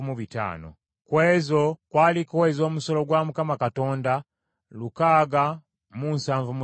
ku ezo kwaliko ez’omusolo gwa Mukama Katonda lukaaga mu nsavu mu ttaano (675).